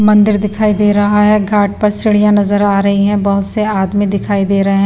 मंदिर दिखाई दे रहा है घाट पर सिढ़ियां नजर आ रही है बहुत से आदमी दिखाई दे रहे हैं।